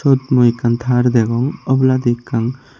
eyot mui ekkan tar tedong oboladi ekkan.